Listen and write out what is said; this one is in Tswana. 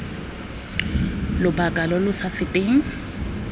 lobaka lo lo sa feteng